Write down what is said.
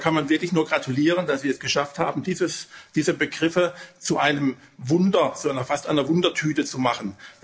Also da kann man wirklich nur gratulieren, dass Sie es geschafft haben, diese Begriffe zu einem Wunder, fast einer Wundertüte zu machen.